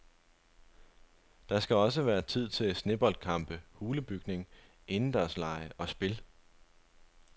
Der skal også være tid til sneboldkampe, hulebygning, indendørslege og spil.